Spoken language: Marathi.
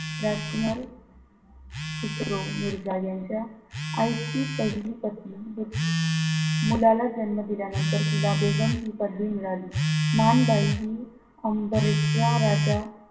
राजकुमार खुसरो मिर्झा यांच्या आईची पहिली पत्नी मुलाला जन्म दिल्या नंतर तिला बेगम हि पदवी मिळाली माणबाई हि अंबरेचा राजा,